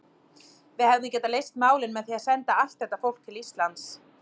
Við hefðum getað leyst málin með því að senda allt þetta fólk til Íslands.